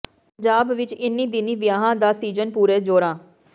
ਪੰਜਾਬ ਵਿਚ ਇੰਨ੍ਹੀ ਦਿਨੀਂ ਵਿਆਹਾਂ ਦਾ ਸੀਜ਼ਨ ਪੂਰੇ ਜੋਰਾਂ